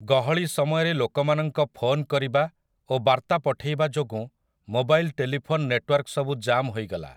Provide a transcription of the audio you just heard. ଗହଳି ସମୟରେ ଲୋକମାନଙ୍କ ଫୋନ କରିବା ଓ ବାର୍ତ୍ତା ପଠେଇବା ଯୋଗୁଁ ମୋବାଇଲ ଟେଲିଫୋନ୍ ନେଟୱାର୍କସବୁ ଜାମ୍ ହୋଇଗଲା ।